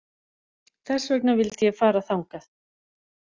Þess vegna vildi ég fara þangað